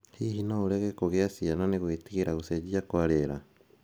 Hihi no ũrege kũgĩa ciana nĩ gwĩtigĩra gũcenjia kwa rĩera?